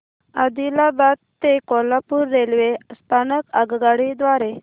आदिलाबाद ते कोल्हापूर रेल्वे स्थानक आगगाडी द्वारे